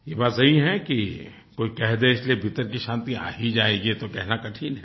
ये बात सही है कि कोई कह दे इसलिये फिर भीतर की शांति आ ही जायेगी ये तो कहना कठिन है